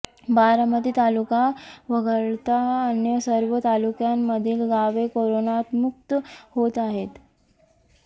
बारामती तालुका वगळता अन्य सर्व तालुक्यांमधील गावे करोनामुक्त होत आहेत